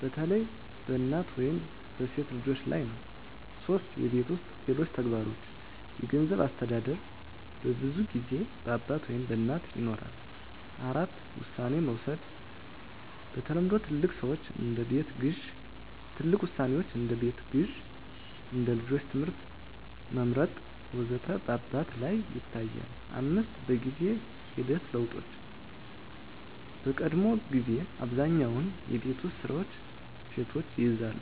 በተለይ በእናት ወይም በሴት ልጆች ላይ ነው 3. የቤት ውስጥ ሌሎች ተግባሮች የገንዘብ አስተዳደር በብዙ ጊዜ በአባት ወይም በእናት ይኖራል። 4. ውሳኔ መውሰድ በተለምዶ ትልቅ ውሳኔዎች (እንደ ቤት ግዢ፣ እንደ ልጆች ትምህርት መመርጥ ወዘተ) በአባት ላይ ይታያል፣ 5. በጊዜ ሂደት ለውጦች በቀድሞ ጊዜ አብዛኛውን የቤት ውስጥ ስራዎች ሴቶች ይይዛሉ